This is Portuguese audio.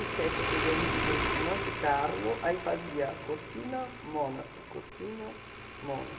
e sete eu peguei a residência em Monte Carlo, aí fazia Cortina, Mônaco, Cortina,